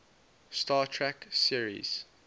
star trek series